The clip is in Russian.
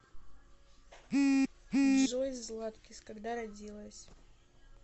джой златкис когда родилась